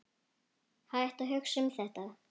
Hættu að hugsa um þetta.